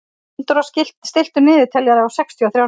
Gunndóra, stilltu niðurteljara á sextíu og þrjár mínútur.